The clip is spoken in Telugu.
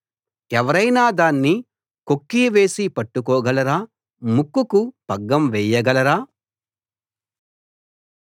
ఎవరైనా దాన్ని కొక్కీ వేసి పట్టుకోగలరా ముక్కుకు పగ్గం వేయగలరా